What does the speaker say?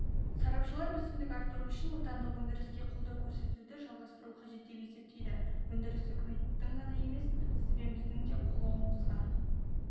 сарапшылар өсімді арттыру үшін отандық өндіріске қолдау көрсетуді жалғастыру қажет деп есептейді өндіріс үкіметтің ғана емес сіз бен біздің де қолауымызға